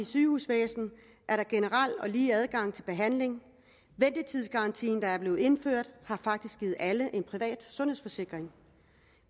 sygehusvæsen er der generelt lige adgang til behandling ventetidsgarantien der er blevet indført har faktisk givet alle en privat sundhedsforsikring